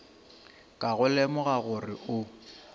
ka go lemoga gore o